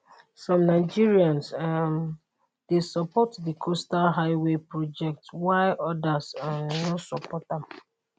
some nigerians um dey support di coastal highway project while odas um no support am